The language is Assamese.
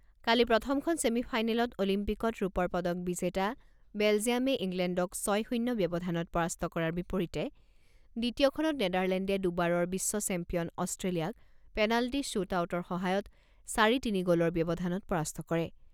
কালি প্ৰথমখন ছেমি ফাইনেলত অলিম্পিকত ৰূপৰ পদক বিজেতা বেলজিয়ামে ইংলেণ্ডক ছয় শূণ্য ব্যৱধানত পৰাস্ত কৰাৰ বিপৰীতে দ্বিতীয়খনত নেদাৰলেণ্ডে দুবাৰৰ বিশ্ব চেম্পিয়ন অষ্ট্ৰেলিয়াক পেনাল্টি শ্বুট আউটৰ সহায়ত চাৰি তিনি গ'লৰ ব্যৱধানত পৰাস্ত কৰে।